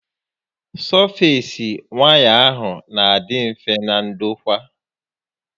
Sọfees waya n'adị mfe na ndokwa